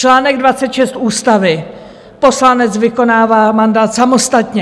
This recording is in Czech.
Článek 26 Ústavy: Poslanec vykonává mandát samostatně.